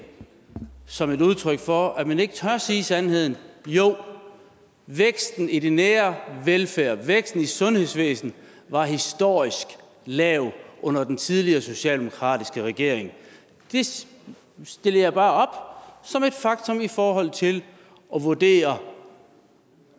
som et udtryk for at man ikke tør sige sandheden jo væksten i den nære velfærd væksten i sundhedsvæsenet var historisk lav under den tidligere socialdemokratiske regering det stiller jeg bare op som et faktum i forhold til at vurdere